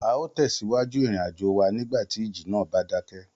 A óò tẹ̀síwájú ìrìnàjò wa nígbà tí ìjì náà bá dákẹ́